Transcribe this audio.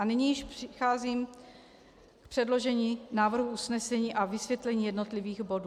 A nyní již přicházím k předložení návrhu usnesení a vysvětlení jednotlivých bodů.